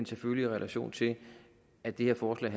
selvfølgelig i relation til at det her forslag